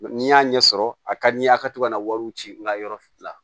Ni y'a ɲɛ sɔrɔ a ka di n ye a ka to ka na wariw ci n ka yɔrɔ fila